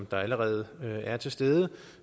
der allerede er til stede